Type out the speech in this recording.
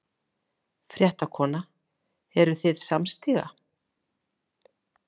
Fréttakona: Eruð þið samstíga?